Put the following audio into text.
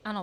Ano.